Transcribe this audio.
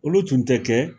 Olu tun tɛ kɛ